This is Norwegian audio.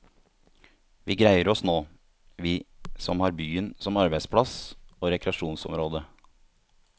Vi greier oss nå, vi som har byen som arbeidsplass og rekreasjonsområde.